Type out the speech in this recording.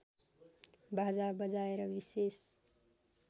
बाजा बजाएर विशेष